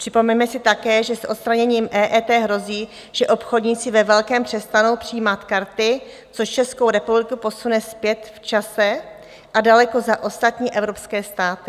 Připomeňme si také, že s odstraněním EET hrozí, že obchodníci ve velkém přestanou přijímat karty, což Českou republiku posune zpět v čase a daleko za ostatní evropské státy.